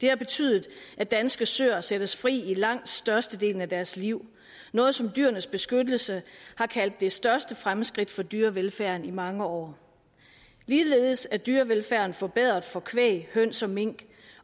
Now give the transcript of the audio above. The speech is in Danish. har betydet at danske søer sættes fri i langt størstedelen af deres liv noget som dyrenes beskyttelse har kaldt det største fremskridt for dyrevelfærden i mange år ligeledes er dyrevelfærden forbedret for kvæg høns og mink